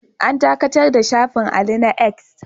An dakatar da shafin Ali na 'X'